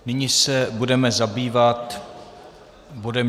Nyní se budeme zabývat bodem